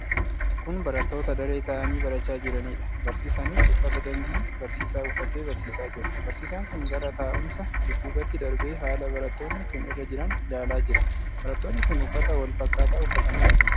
Kun barattoota daree taa'anii barachaa jiraniidha. Barsiisanis uffata dambii barsiisaa uffatee barsiisaa jira. Barsiisaan kun gara taa'umsa dudduubaatti darbee haala barattoonni kun irra jiran ilaalaa jira. Barattoonni kun uffata wal fakkaataa uffatanii argamu.